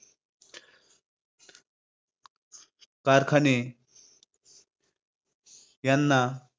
कारखाने यांना